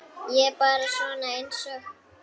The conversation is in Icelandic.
Ég er bara svona einsog.